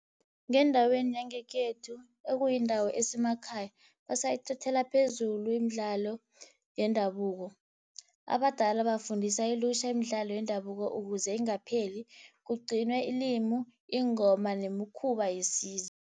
Ngendaweni yangekhethu ekuyindawo esemakhaya basayithathela phezulu imidlalo yendabuko. Abadala bafundisa ilutjha imidlalo yendabuko, ukuze ingapheli kugcinwe ilimi, ingoma nemikhuba yesizwe.